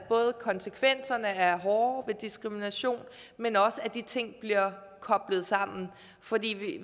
konsekvenserne er hårde ved diskrimination men også at de ting bliver koblet sammen for vi